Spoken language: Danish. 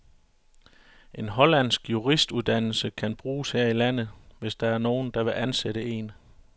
En hollandsk juristuddannelse kan bruges her i landet, hvis der er nogen, der vil ansætte en.